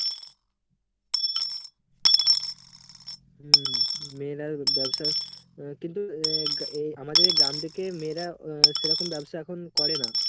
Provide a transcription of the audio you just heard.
হম। মেয়েরা ব্যবসার আহ কিন্তু আমাদের গ্রাম থেকে মেয়েরা আ সেরকম ব্যবসা এখন করে না।